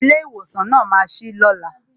Ilé ìwòsàn náà ma sí lóla